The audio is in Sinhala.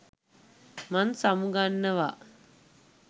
මං සමුගන්නවා